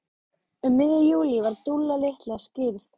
Um miðjan júlí var Dúlla litla skírð.